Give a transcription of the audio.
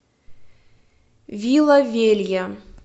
вила велья